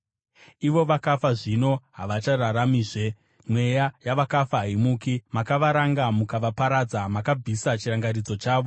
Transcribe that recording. Ivo vakafa zvino, havachararamizve; mweya yavakafa haimuki. Makavaranga mukavaparadza; makabvisa chirangaridzo chavo.